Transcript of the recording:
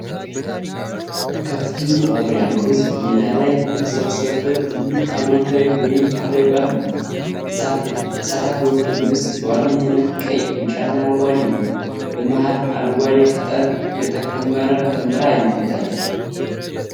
ከፍተኛ ቁጥር ያለው ሕዝብ ሜዳ ላይ የተሰበሰበበት ትልቅ ሃይማኖታዊ ወይም ባህላዊ በዓል ነው። የተሳታፊዎቹ ልብስ በዋነኝነት ቀይ፣ ቢጫና አረንጓዴ ነው። በመሃልም አረንጓዴ ቅጠል የተከመረ ደመራ ይነሳል።